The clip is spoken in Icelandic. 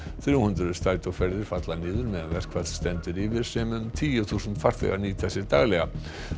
þrjú hundruð strætóferðir falla niður meðan verkfall stendur yfir sem um tíu þúsund farþegar nýta sér daglega